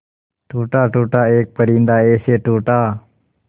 टूटा टूटा एक परिंदा ऐसे टूटा